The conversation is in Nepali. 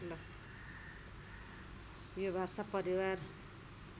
यो भाषा परिवार